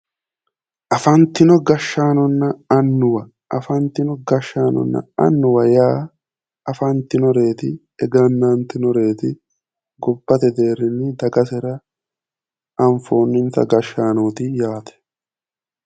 Afantino gashshaanonna annuwa afantino gashshaanonna annuwa yaa afantginoreeti egennantinoreeti gobbate deerrinni dagasera anfoonninsa gashshaanooti yaate